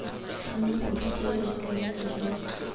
tlhoma bodutelo jo bontsha jo